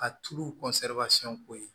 Ka tulu ko ye